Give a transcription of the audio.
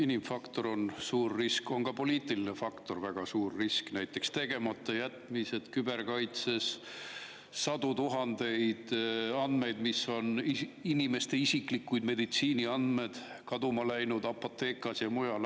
Inimfaktor on suur risk, aga ka poliitiline faktor on väga suur risk, näiteks tegematajätmised küberkaitses, sadu tuhandeid inimeste isiklikke meditsiiniandmed, mis on kaduma läinud Apothekas ja mujal.